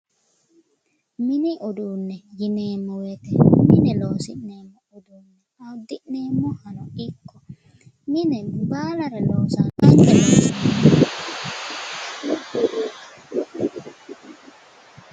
Mini uduunne yineemmo woyiite mine loosi'nemmohano ikko uddi'neemmoha, mine baalare loosa